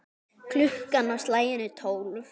Klukkan á slaginu tólf.